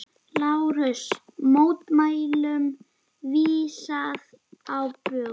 LÁRUS: Mótmælum vísað á bug.